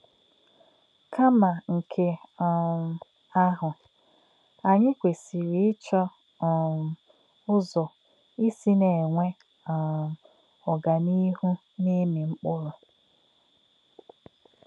Kà̄mà̄ nké̄ um àhū̄, ànyí̄ kwèsị̀rị̀ íchọ̄ um ṹzò̄ ísī̄ nā̄-ènwè̄ um ọ̀gánìhù̄ n’ìmī̄ mkpụ̀rụ́.